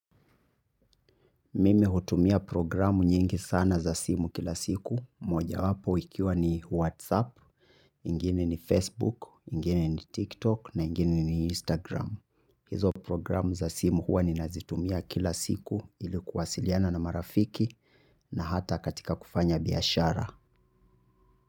Mimi hutumia programu nyingi sana za simu kila siku, mojawapo ikiwa ni Whatsapp, ingine ni Facebook, ingine ni TikTok, na ingine ni Instagram. Hizo programu za simu huwa ninazitumia kila siku ili kuwasiliana na marafiki na hata katika kufanya biashara.